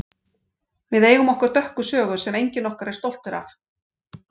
Við eigum okkar dökka sögu sem enginn okkar er stoltur af.